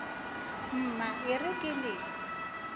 mma e re ke le